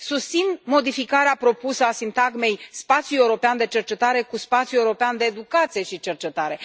Susțin modificarea propusă a sintagmei spațiul european de cercetare cu spațiul european de educație și cercetare.